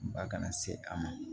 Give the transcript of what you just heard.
Ba kana se a ma